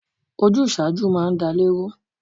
Ojúṣáájú máa ń dálè rú.